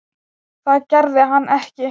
Það gerði hann ekki.